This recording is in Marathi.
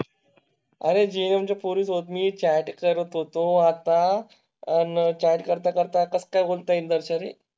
अरे जे पोरी होत मी चॅट करत होतो. आता आह चॅट करता करता काही बोलता येईल नर्सरी